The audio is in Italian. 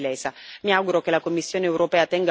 una ristoro della situazione lesa.